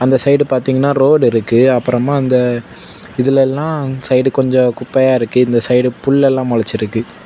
அந்த சைடு பார்த்தீங்கன்னா ரோடுருக்கு . அப்புறமா அந்த இதுலலெல்லாம் சைடு கொஞ்சம் குப்பையா இருக்கு. இந்த சைடு புல்லெல்லாம் முளைச்சிருக்கு.